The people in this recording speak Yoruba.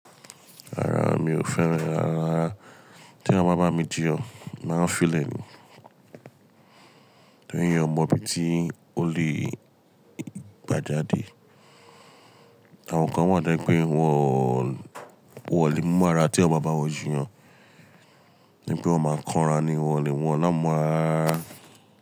Rárá mi ò fẹ́ràn rara, tí eyan bá bá mi jiyàn, máa ń fi lẹ̀ ni. Tóri eyàn ọ mọ bí i tí ó lè gbajade. Àwọn kan wà ye pé wọ́n, wọ́n ò lè mú mora tí eyan bá n bá wọn jiyàn, ní pé wọ́n máa ń kánra ni wọ́n ni ámu mora rara.